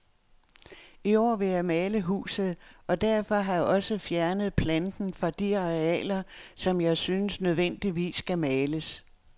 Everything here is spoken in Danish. I år vil jeg male huset, og derfor har jeg også fjernet planten fra de arealer, som jeg synes nødvendigvis skal males.